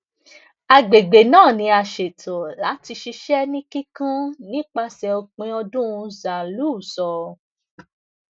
agbègbè náà ni a ṣètò láti ṣiṣẹ́ ní kíkún nípasẹ̀ òpin ọdún zaghloul sọ